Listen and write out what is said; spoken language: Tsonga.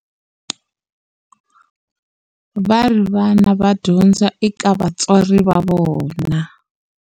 Va ri vana va dyondza eka vatswari va vona.